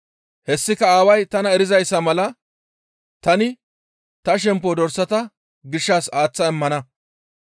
Hessika Aaway tana erizayssa mala tani ta shemppo dorsata gishshas aaththa immana.